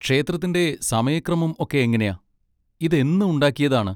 ക്ഷേത്രത്തിൻ്റെ സമയക്രമം ഒക്കെ എങ്ങനെയാ? ഇതെന്ന് ഉണ്ടാക്കിയതാണ്?